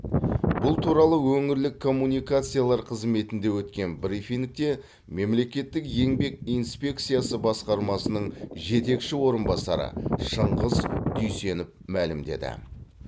бұл туралы өңірлік коммуникациялар қызметінде өткен брифингте мемлекеттік еңбек инспекциясы басқармасының жетекші орынбасары шыңғыс дүйсенов мәлімдеді